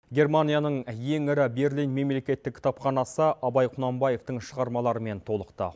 германияның ең ірі берлин мемлекеттік кітапханасы абай құнанбаевтың шығармаларымен толықты